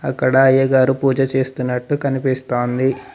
అక్కడ అయ్యగారు పూజ చేస్తున్నట్టు కనిపిస్తాంది.